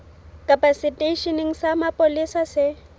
kapa seteisheneng sa mapolesa se